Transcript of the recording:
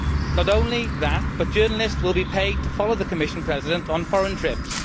Not only that, but journalists will be paid to follow the Commission President on foreign trips.